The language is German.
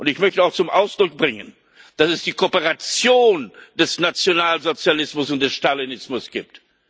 Ich möchte auch zum Ausdruck bringen, dass es die Kooperation des Nationalsozialismus und des Stalinismus gibt.